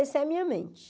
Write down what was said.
Essa é a minha mente.